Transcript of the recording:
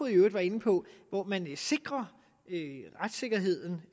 jo var inde på sikrer retssikkerheden